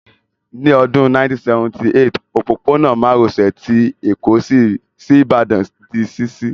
Ní Ọdún 1978, òpópónà márosè ti Èkó sí Ìbàdàn di ṣíṣí